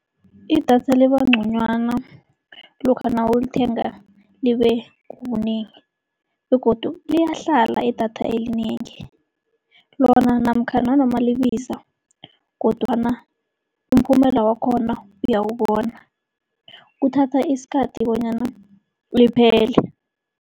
Idatha liba nconywana lokha nawulithenga libe linengi begodu liyahlala idatha elinengi. Lona namkha nanoma libiza kodwana umphumela wakhona uyawubona. Kuthatha isikhathi bonyana liphele.